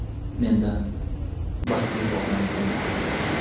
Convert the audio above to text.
Mendan baxtli odam bo‘lmasdi.